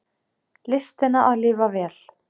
Listina að lifa vel.